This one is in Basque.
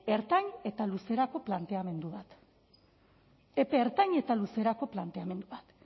ertain eta luzerako planteamendu bat epe ertain eta luzerako planteamentu bat